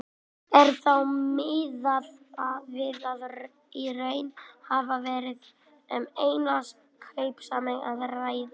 Er þá miðað við að í raun hafi verið um einn kaupsamning að ræða.